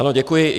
Ano, děkuji.